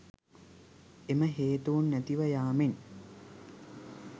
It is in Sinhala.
එම හේතූන් නැතිව යාමෙන්